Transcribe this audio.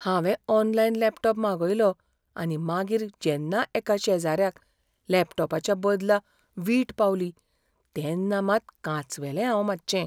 हांवें online laptop मागयलो आनी मागीर जेन्ना एका शेजाऱ्याक लॅपटॉपाच्या बदला वीट पावली तेन्ना मात कांचवेलें हांव मातशें.